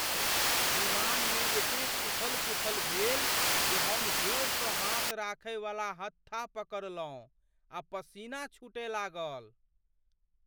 विमानमे एतेक उथल पुथल भेल जे हम जोरसँ हाथ राखय वाला हत्था पकड़लहुँ आ पसीना छूटय लागल।